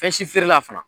Fɛn si feerela fana